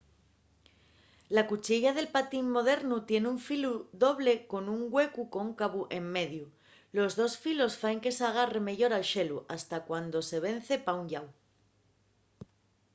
la cuchiella del patín modernu tien un filu doble con un güecu cóncavu en mediu. los dos filos faen que s’agarre meyor al xelu fasta cuando se vence pa un llau